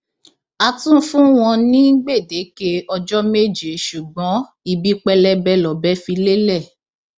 a tún fún wọn ní gbèdéke ọjọ méje ṣùgbọn ibi pẹlẹbẹ lọbẹ fi lélẹ